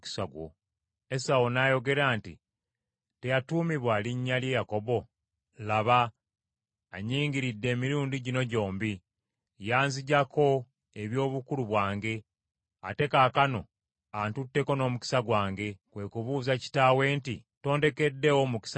Esawu n’ayogera nti, “Teyatuumibwa linnya lye Yakobo? Laba, anyingiridde emirundi gino gyombi; yanziggyako eby’obukulu bwange, ate kaakano antutteko n’omukisa gwange.” Kwe kubuuza kitaawe nti, “Tondekeddeewo mukisa n’akatono?”